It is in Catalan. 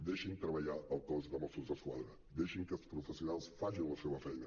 deixin treballar el cos de mossos d’esquadra deixin que els professionals facin la seva feina